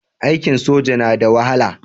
Aikin soja na da wahala.